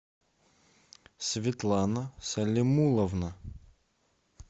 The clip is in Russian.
светлана салимуловна